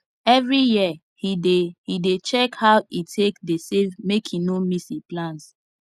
every year he dey he dey check how e take dey save make e no miss e plans